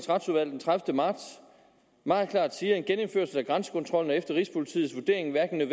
retsudvalg den tredivete marts meget klart siger at en genindførelse af grænsekontrollen efter rigspolitiets vurdering hverken er